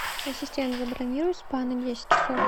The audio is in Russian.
ассистент забронируй спа на десять часов